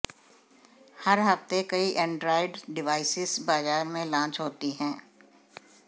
हर हफ्ते कई Android devices बाजार में लांच होती हैं